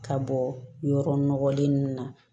Ka bɔ yɔrɔ nɔgɔlen ninnu na